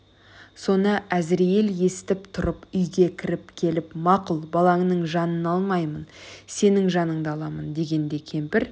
соны әзірейіл есітіп тұрып үйге кіріп келіп мақұл балаңның жанын алмаймын сенің жаныңды аламын дегенде кемпір